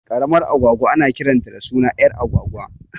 Ƙaramar agwagwa ana kiranta da suna ƴar agwagwa